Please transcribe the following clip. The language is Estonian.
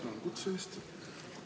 Tänan kutse eest!